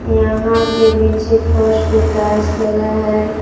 यहां पे नीचे फर्श पे टाइल्स लगा है।